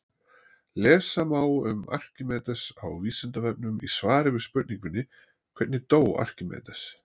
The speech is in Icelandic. Lesa má um Arkímedes á Vísindavefnum í svari við spurningunni Hvernig dó Arkímedes?